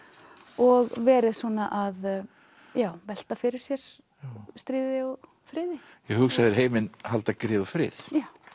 og verið að velta fyrir sér stríði og friði já hugsaðu þér heiminn halda grið og frið